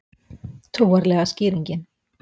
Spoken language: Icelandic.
Trúarlega skýringin